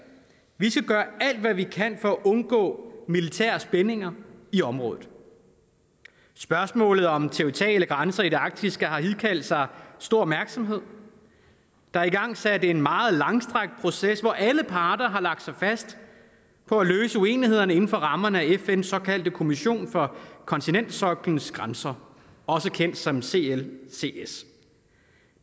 vi skal gøre alt hvad vi kan for at undgå militære spændinger i området spørgsmålet om territoriale grænser i det arktiske har hidkaldt sig stor opmærksomhed der er igangsat en meget langstrakt proces hvor alle parter har lagt sig fast på at løse uenigheden inden for rammerne af fns såkaldte kommission for kontinentalsoklens grænser også kendt som clcs